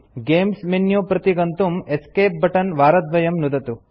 games menu प्रति गन्तुं escape button वारद्वयं नुदतु